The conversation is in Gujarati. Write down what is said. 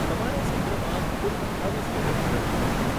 તમારે આ સત્રમાં કુલ અઠ્ઠાવીસ ક્રેડિટ મેળવવી પડશે.